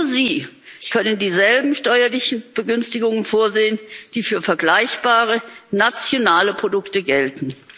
Nur sie können dieselben steuerlichen Begünstigungen vorsehen, die für vergleichbare nationale Produkte gelten.